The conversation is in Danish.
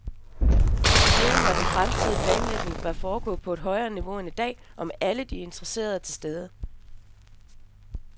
Styringen og den fremtidige planlægning bør foregå på et højere niveau end i dag og med alle interessenter til stede.